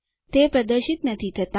તે પ્રદર્શિત નથી થતા